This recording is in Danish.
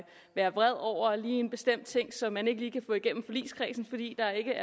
være vred over en bestemt ting som man ikke lige kan få igennem hos forligskredsen fordi der ikke